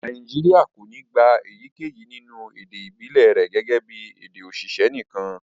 Nàìjíríà kò ní gbà èyíkéyìí nínú èdè ibilẹ rẹ̀ gẹ́gẹ́ bí èdè oṣiṣẹ nìkan.